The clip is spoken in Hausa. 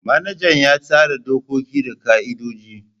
Manajan ya tsara dokoki da ka'idoji.